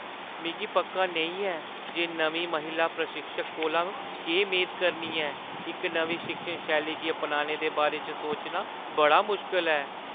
मिगी पक्का नेईं ऐ जे नमीं महिला प्रशिक्षक कोला केह् मेद करनी ऐ। इक नमीं शिक्षण शैली गी अपनाने दे बारे च सोचना बड़ा मुश्कल ऐ।